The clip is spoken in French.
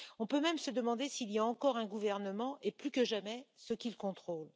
On peut même se demander s'il y a encore un gouvernement et, plus que jamais, ce qu'il contrôle.